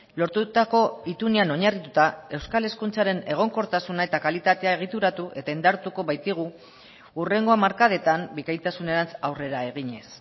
lortutako itunean oinarrituta euskal hezkuntzaren egonkortasuna eta kalitatea egituratu eta indartuko baitigu hurrengo hamarkadetan bikaintasunerantz aurrera eginez